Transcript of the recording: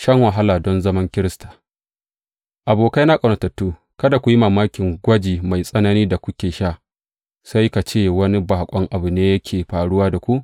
Shan wahala don zaman Kirista Abokaina ƙaunatattu, kada ku yi mamakin gwaji mai tsananin da kuke sha, sai ka ce wani baƙon abu ne yake faruwa da ku.